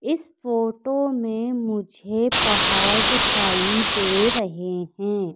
इस फोटो में मुझे पहाड़ दिखाई दे रहें हैं।